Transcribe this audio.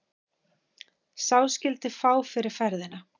Sá skyldi fá fyrir ferðina.